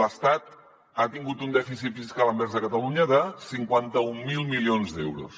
l’estat ha tingut un dèficit fiscal envers catalunya de cinquanta mil milions d’euros